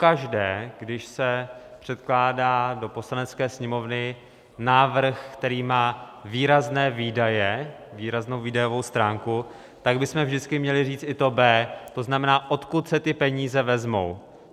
Pokaždé, když se předkládá do Poslanecké sněmovny návrh, který má výrazné výdaje, výraznou výdajovou stránku, tak bychom vždycky měli říct i to B, to znamená, odkud se ty peníze vezmou.